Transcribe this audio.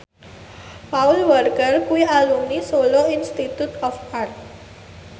Paul Walker kuwi alumni Solo Institute of Art